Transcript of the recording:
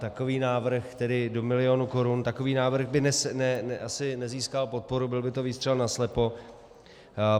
Takový návrh, tedy do milionu korun, takový návrh by asi nezískal podporu, byl by to výstřel naslepo.